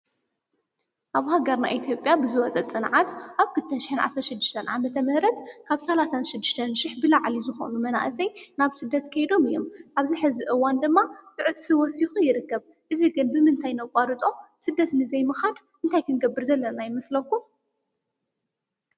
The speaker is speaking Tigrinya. ኣብ ሃገርና ኢትዮጵያ ብዝወፀ ፅንዓት ኣብ ክልተን ሸሕን ዓሰርተ ሽዱሽተን ዓመተ ምሕረት ካብ ሰላሳን ሽዱሽተን ሽሕ ብላዕሊ ዝኾኑ መናእሰይ ናብ ስደት ከይዶም እዮም፡፡ ኣብዚ ሕዚ እዋን ድማ ብዕፅፊ ወሲኹ ይርከብ፡፡ እዙይ ግን ብምንታይ ነቋርፆ? ስደት ልዘይምኻድ እንታይ ክንገብር ዘለና ይመስለኩም?